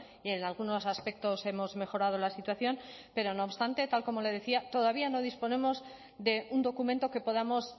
y en algunos aspectos hemos mejorado la situación pero no obstante tal como le decía todavía no disponemos de un documento que podamos